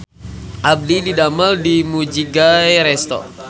Abdi didamel di Mujigae Resto